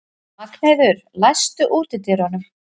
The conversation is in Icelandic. Magnheiður, læstu útidyrunum.